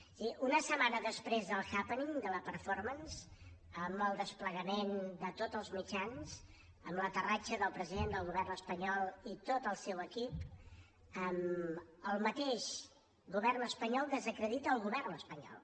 és a dir una setmana després del happening de la mance amb el desplegament de tots els mitjans amb l’aterratge del president del govern espanyol i tot el seu equip el mateix govern espanyol desacredita el govern espanyol